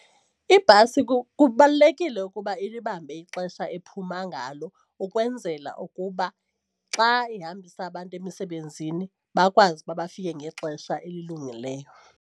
Ibhasi kubalulekile ukuba ilibambe ixesha ephuma ngalo ukwenzela ukuba xa ihambisa abantu emisebenzini bakwazi uba bafike ngexesha elilungileyo.